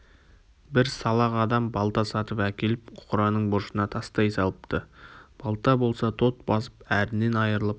бір салақ адам балта сатып әкеліп қораның бұрышына тастай салыпты балта болса тот басып әрінен айрылып